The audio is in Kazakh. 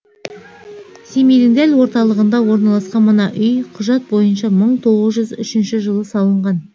семейдің дәл орталығында орналасқан мына үй құжат бойынша мың тоғыз жүз үшінші жылы салынған